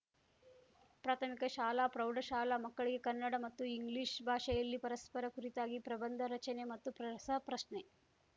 ಪ್ರಾಥಮಿಕಶಾಲಾ ಪ್ರೌಢಶಾಲಾ ಮಕ್ಕಳಿಗೆ ಕನ್ನಡ ಮತ್ತು ಇಂಗ್ಲೀಷ್‌ ಭಾಷೆಯಲ್ಲಿ ಪರಸ್ಪರ ಕುರಿತಾಗಿ ಪ್ರಬಂಧ ರಚನೆ ಮತ್ತು ಪ್ರಸರಸಪ್ರಶ್ನೆ